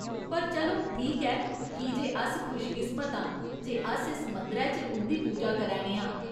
पर चलो ठीक ऐ, की जे अस खुशकिस्मत आं जे अस इस मंदरै च उं'दी पूजा करै ने आं।